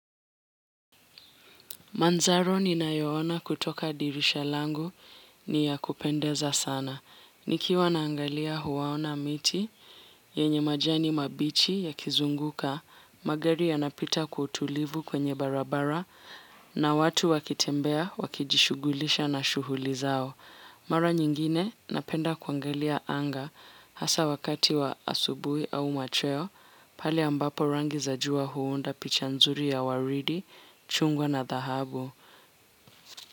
Mandhari ninayoona kutoka dirisha langu ni ya kupendeza sana. Nikiwa naangalia, huwaona miti yenye majani mabichi yakizunguka, magari yakipita kwa utulivu kwenye barabara na watu wakitembea wakijishughulisha na shughuli zao. Mara nyingine napenda kuangalia anga, hasa wakati wa asubuhi au machweo, pale ambapo rangi za jua huunda picha nzuri ya waridi, chungwa na dhahabu.